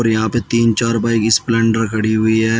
और यहाँ पे तीन चार बाइक स्प्लेंडर खड़ी हुई है।